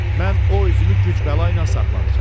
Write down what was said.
Mən o üzümü gücbəla ilə saxlamışam.